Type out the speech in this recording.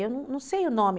Eu não sei o nome.